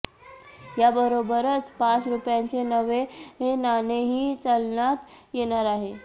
याबरोबरच पाच रूपयांचे नवे नाणेही चलनात येणार आहे